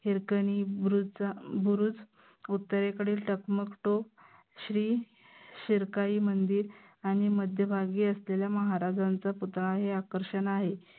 हिरकनी बुरुजचा बुरुज, उत्तरेकडील टकमक टोक, श्री शिरकाई मंदिर आनि मध्य भागी असलेला महाराजांचा पुतळा हे आकर्षन आहे.